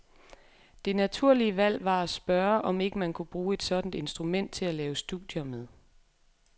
Det naturlige valg var at spørge, om ikke man kunne bruge et sådant instrument til at lave studier med.